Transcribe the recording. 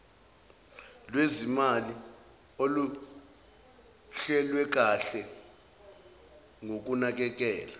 lwezimali oluhlelwekanhe ngokunakekela